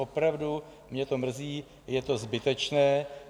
Opravdu mě to mrzí, je to zbytečné.